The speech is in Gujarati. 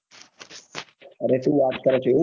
અરે સુ વાત કર ચ એવું છ